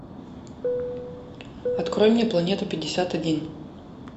открой мне планета пятьдесят один